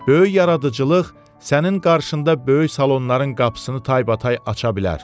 Böyük yaradıcılıq sənin qarşında böyük salonların qapısını taybatay aça bilər.